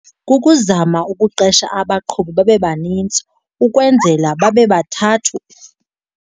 Kukuzama ukuqesha abaqhubi babe banintsi ukwenzela babe bathathu.